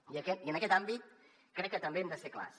i en aquest àmbit crec que també hem de ser clars